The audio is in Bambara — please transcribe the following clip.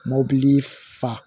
Mobili fa